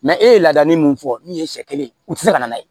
e ye ladamu min fɔ min ye sɛ kelen ye u ti se ka n'a ye